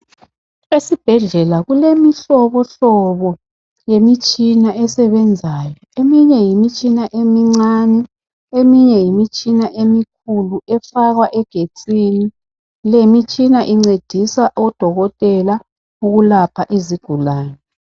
Esibhedlela kule mhlobo hlobo yemitshina esebenzayo .Eminye yimitshina emincane eminye yimitshina emikhulu efakwa egetsini .Le mitshina incedisa odokotela ukulapha izigulane .